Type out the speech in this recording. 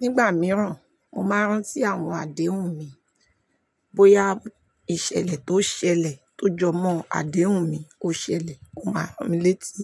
Nígbà mìíràn, mo máa ń rántí àwọn àdéhùn mi. Bóyá ìṣẹ̀lẹ̀ tó ṣẹlẹ̀ tó jọ mọ́ àdéhùn mi ó ṣẹlẹ̀, ó máa ń ràn mí létí.